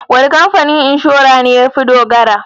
Wane kamfanin inshora ne ya fi dogara?